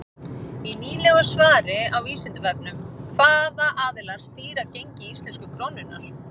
Í nýlegu svari á Vísindavefnum Hvaða aðilar stýra gengi íslensku krónunnar?